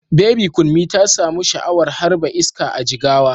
Baby Kunmi ta samu sha'awar harba iska a Jigawa.